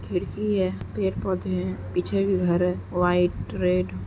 खिड़की है पेड़ पौधे है पीछे भी घर है वाइट रेड --